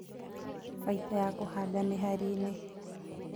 Baita ya kũhanda mĩhari-inĩ